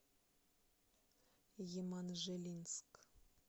еманжелинск